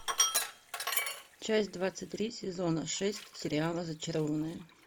часть двадцать три сезона шесть сериала зачарованные